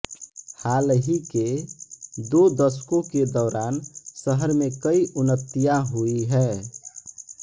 हाल ही के दो दशकों के दौरान शहर में कई उन्नतियाँ हुई हैं